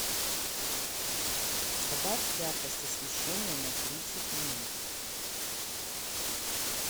добавь яркость освещения на тридцать минут